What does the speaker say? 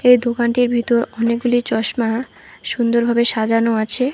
এই দোকানটির ভিতর অনেকগুলি চশমা সুন্দরভাবে সাজানো আছে।